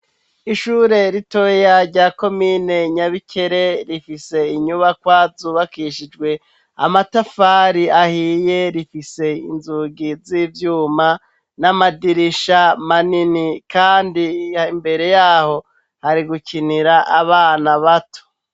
Ishure ritoya rya komine Nyabikere rifise inyubakwa zubakishijwe amatafari ahiye rifise inzugi z'ivyuma n'amadirisha manini kandi imbere yaho hari gukinira abana bato.